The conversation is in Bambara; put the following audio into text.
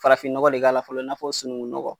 Farafinɔgɔ de k'a la fɔlɔ i n'a fɔ sunukunnɔgɔ.